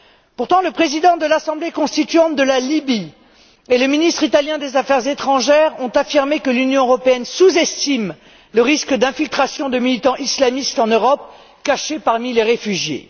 Pourtant, le président de l'Assemblée constituante de la Libye et le ministre italien des affaires étrangères ont affirmé que l'Union européenne sous estime le risque d'infiltration de militants islamistes en Europe, cachés parmi les réfugiés.